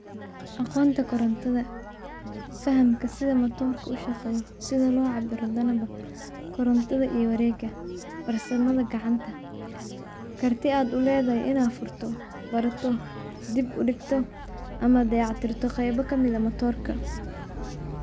Aqoonta korontada. Fahamka sida matoorka u shaqeeyo, sida loo cabirado danaba, korontada iyo wareegga, barsamada gacanta. Kartid aad u leedahay inaa furto, barato, dib uligto ama dayactirto qeyb ka mida matoorka.